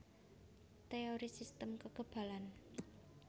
Teori sistem kekebalan